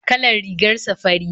Kalar rigarsa fari